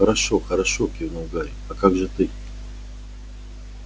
хорошо-хорошо кивнул гарри а как же ты